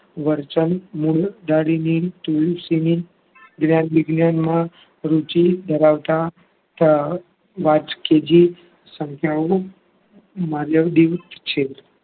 વરચલ મૂળ તુલસીની જ્ઞાન વિજ્ઞાનમાં રુચિ ધરાવતા વાંચકીજિ સંકરણ માલવડી છે.